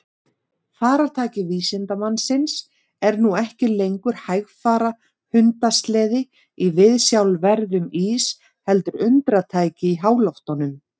Farartæki vísindamannsins er nú ekki lengur hægfara hundasleði í viðsjárverðum ís heldur undratæki í háloftunum.